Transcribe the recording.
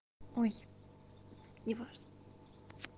ой не важно